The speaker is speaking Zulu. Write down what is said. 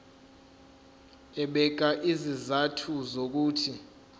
ebeka izizathu zokuthi